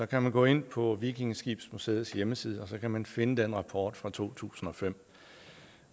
kan man gå ind på vikingeskibsmuseets hjemmeside og så kan man finde den rapport fra to tusind og fem